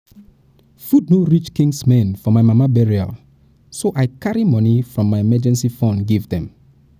food no reach my kinsmen for my mama burial so i carry money from my emergency fund give dem